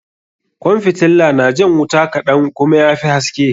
Kwan fitilla na jan wuta kaɗan kuma ya fi haske.